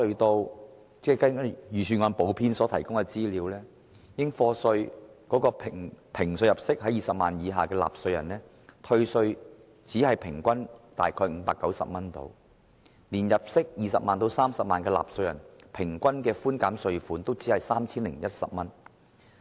根據預算案補編的資料，應評稅入息20萬元以下的納稅人，平均可獲寬減的稅款只得590元；即使是入息20萬元至30萬元的納稅人，所獲寬減的稅款平均也只有 3,010 元。